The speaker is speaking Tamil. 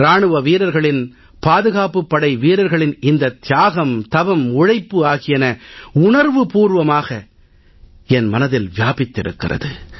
இராணுவ வீரர்களின் பாதுகாப்புப் படைவீரர்களின் இந்தத் தியாகம் தவம் உழைப்பு ஆகியன உணர்வுபூர்வமாக எனது மனதில் வியாபித்திருக்கிறது